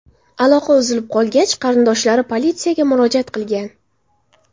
Aloqa uzilib qolgach, qarindoshlari politsiyaga murojaat qilgan.